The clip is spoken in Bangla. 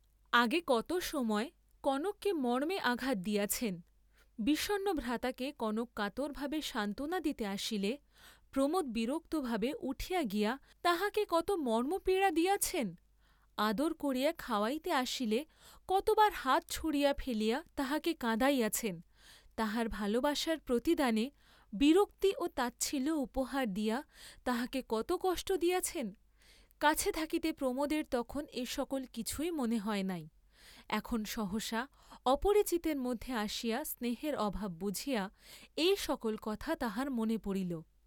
আগে কত সময় কনককে মর্ম্মে আঘাত দিয়াছেন, বিষণ্ণ ভ্রাতাকে কনক কাতরভাবে সান্ত্বনা দিতে আসিলে, প্রমোদ বিরক্তভাবে উঠিয়া গিয়া তাহাকে কত মর্ম্মপীড়া দিয়াছেন, আদর করিয়া খাওয়াইতে আসিলে কতবার হাত ছুঁড়িয়া ফেলিয়া তাহাকে কাঁদাইয়াছেন, তাহার ভালবাসার প্রতিদানে বিরক্তি ও তাচ্ছিল্য উপহার দিয়া তাহাকে কত কষ্ট দিয়াছেন, কাছে থাকিতে প্রমোদের তখন এ সকল কিছুই মনে হয় নাই, এখন সহসা অপরিচিতের মধ্যে আসিয়া স্নেহের অভাব বুঝিয়া এই সকল কথা তাঁহার মনে পড়িল।